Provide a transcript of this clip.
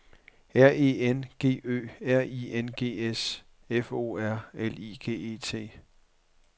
R E N G Ø R I N G S F O R L I G E T